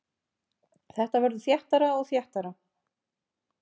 Þetta verður þéttara og þéttara.